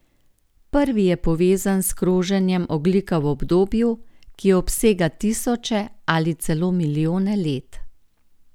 Prvi je povezan s kroženjem ogljika v obdobju, ki obsega tisoče ali celo milijone let.